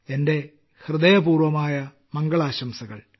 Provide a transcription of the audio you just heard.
എന്റെ ഹൃദയപൂർവ്വമായ മംഗളാശംസകൾ